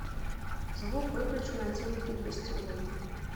звук выключи на телике в гостевой